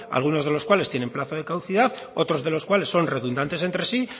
algunos de los cuales tienen plazo de caducidad otros de los cuales son redundantes entre sí